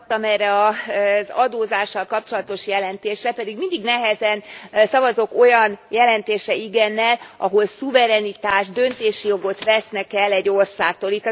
amelyre az adózással kapcsolatos jelentésre, pedig mindig nehezen szavazok olyan jelentésre igennel, ahol szuverenitást, döntési jogot vesznek el egy országtól.